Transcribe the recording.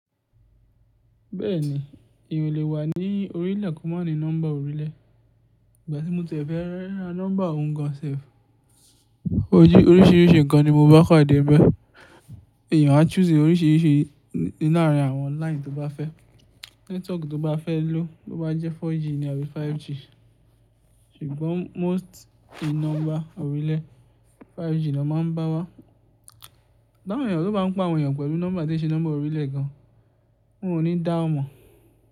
Bẹ́ẹ̀ni, èèyàn o lè wà ní orílẹ̀ ko máa ní nọ́mbà orílẹ̀. Ìgbà tí mo ti e fẹ́ ra nọ́mbà òun gan-an sẹ́f, ojú oríṣiríṣi nǹkan ni mo bá padé nibe. Èèyàn á choose oríṣiríṣi nínú àwọn line tó bá fẹ́, network tó bá fẹ́ lo, tó bá jẹ́ 4G àbí 5G. Ṣùgbọ́n most in nọ́mbà orílẹ̀, 5G ni won máa ń bá wá. Ti awon eeyàn ló bá ń pa àwọn èèyàn pẹ̀lú nọ́mbà tó ṣe nọ́mbà orílẹ̀ gan-an. Wọn ò ní dá ọ mọ̀